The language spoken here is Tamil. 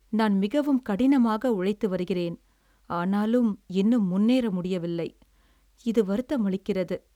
"நான் மிகவும் கடினமாக உழைத்து வருகிறேன், ஆனாலும் இன்னும் முன்னேற முடியவில்லை. இது வருத்தமளிக்கிறது."